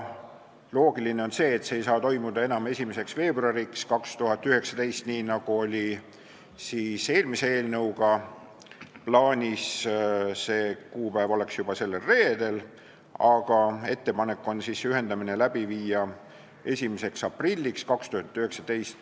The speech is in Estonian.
Loogiline on, et see ei saa toimuda enam 1. veebruariks 2019, nii nagu oli plaanis eelmise eelnõuga – 1. veebruar on juba sellel reedel –, vaid ettepanek on ühendamine läbi viia 1. aprilliks 2019.